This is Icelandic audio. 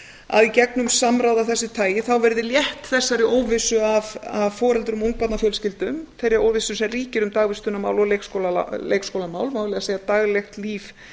að í gegnum samráð af þessu tagi verði létt þessari óvissu af foreldrum og ungbarnafjölskyldum þeirri óvissu sem ríkir um dagvistunarmál og leikskólamál má eiginlega segja daglegt líf